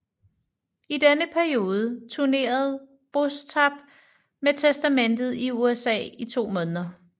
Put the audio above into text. I denne periode turnerede Bostaph med Testament i USA i to måneder